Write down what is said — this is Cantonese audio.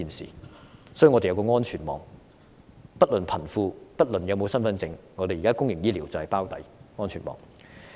所以，我們需要有一個安全網，不論貧富、是否有身份證，現在我們的公營醫療都會"包底"，這就是安全網。